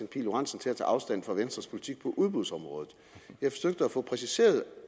pihl lorentzen til at tage afstand fra venstres politik på udbudsområdet jeg forsøgte at få præciseret